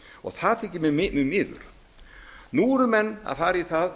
það þykir mér mjög miður nú eru menn að fara í það